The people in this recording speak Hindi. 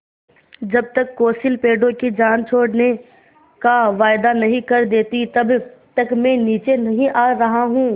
जब तक कौंसिल पेड़ों की जान छोड़ने का वायदा नहीं कर देती तब तक मैं नीचे नहीं आ रहा हूँ